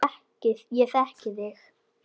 Ég þekki þig.